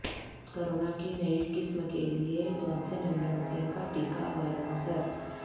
corona کی نئی قسم کیلئے جانسن اینڈ جانسن کا ٹیکہ غیرموثر